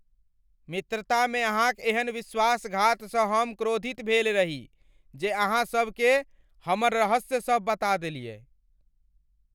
मित्रता में अहाँक एहन विश्वासघात स हम क्रोधित भेल रही जे अहाँ सब के हमर रहस्य सब बता देलियै।